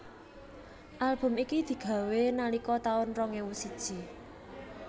Album iki digawé nalika taun rong ewu siji